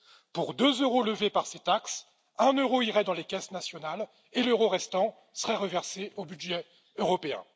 Pour deux euros levés par ces taxes, un euro irait dans les caisses nationales et l'euro restant serait reversé au budget européen.